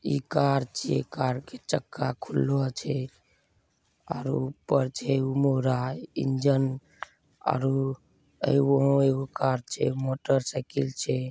इ कार छे कार के चक्का खुल्लो छे और ऊपर जमूरा इंजन अरु कार छे मोटर साइकिल छे।